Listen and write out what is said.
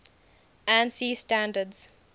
ansi standards